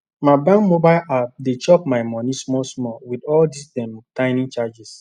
my bank mobile app dey chop my money smallsmall with all dis dem tiny charges